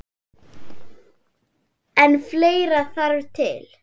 En fleira þarf til.